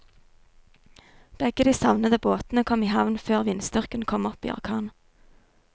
Begge de savnede båtene kom i havn før vindstyrken kom opp i orkan.